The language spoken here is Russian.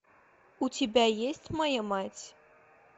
у тебя есть моя мать